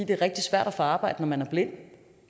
det er rigtig svært at få arbejde når man er blind